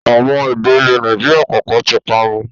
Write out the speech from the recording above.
Àwọn èdè ilẹ̀ Nàìjíríà kọ̀ọ̀kan tí parun